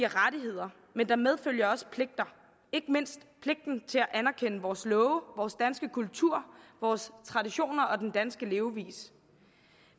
rettigheder men der medfølger også pligter ikke mindst pligten til at anerkende vores love vores danske kultur vores traditioner og den danske levevis